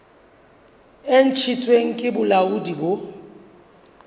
e ntshitsweng ke bolaodi bo